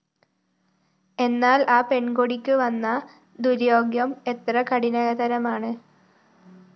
എന്നാല്‍ ആ പെണ്‍ കൊടിക്ക് വന്ന ദുര്യോഗം എത്ര കഠിനതരമാണ്